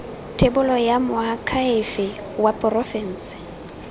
thebolo ya moakhaefe wa porofense